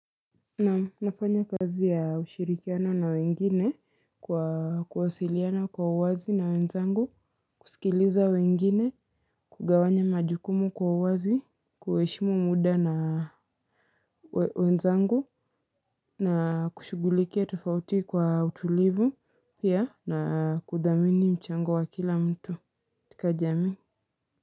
Naam nafanya kazi ya ushirikiano na wengine kwa kuwasiliana kwa uwazi na wenzangu kusikiliza wengine kugawanya majukumu kwa uwazi kueshimu muda na wenzangu na kushugulikia tofauti kwa utulivu pia na kudhamini mchango wa kila mtu tika jamii.